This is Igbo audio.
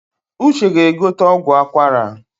Uche ga-egote ọgwụ akwara